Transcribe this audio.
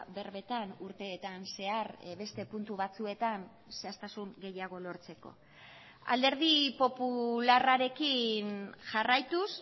berbetan urteetan zehar beste puntu batzuetan zehaztasun gehiago lortzeko alderdi popularrarekin jarraituz